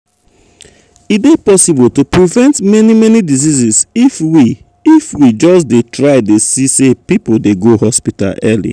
e dey possible to prevent many many diseases if we if we just dey try dey see say people dey go hospital early.